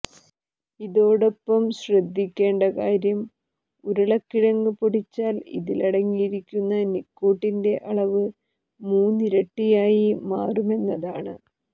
ഇതോടൊപ്പം ശ്രദ്ധിക്കേണ്ട കാര്യം ഉരുളക്കിഴങ്ങ് പൊടിച്ചാൽ ഇതിലടങ്ങിയിരിക്കുന്ന നിക്കോട്ടിന്റെ അളവ് മൂന്നിരട്ടിയായി മാറുമെന്നതാണ്